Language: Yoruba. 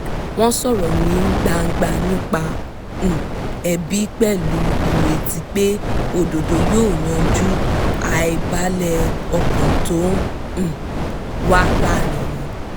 wọ́n sọ̀rọ̀ ní gbangba nípa um ẹ̀bi pẹ̀lú ìrètí pé òdodo yóò yanjú àìbalẹ̀ ọkàn tó um wà láàárín wọn